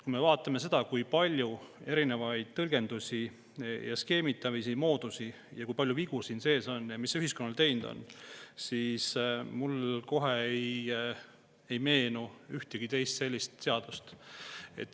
Kui me vaatame seda, kui palju on erinevaid tõlgendusi ja skeemitamise mooduseid ja kui palju vigu siin sees on ja mis see ühiskonnale teinud on, siis mulle kohe ei meenu ühtegi teist sellist seadust.